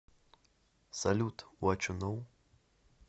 салют вачу ноу